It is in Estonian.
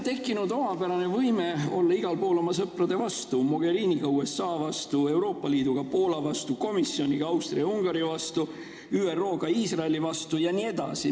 Me oleme omapärasel moel hakanud igal pool olema oma sõprade vastu: koos Mogheriniga USA vastu, koos Euroopa Liiduga Poola vastu, Euroopa Komisjoniga Austria ja Ungari vastu, ÜRO-ga Iisraeli vastu jne.